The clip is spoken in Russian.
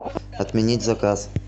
отменить заказ